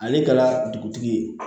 Ale kɛra dugutigi ye